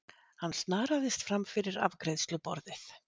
Hann snaraðist fram fyrir afgreiðsluborðið.